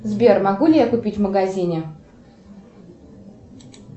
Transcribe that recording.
сбер могу ли я купить в магазине